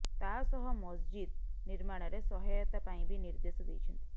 ତାସହ ମସଜିଦ ନିର୍ମାଣରେ ସହାୟତା ପାଇଁ ବି ନିର୍ଦ୍ଦେଶ ଦେଇଛନ୍ତି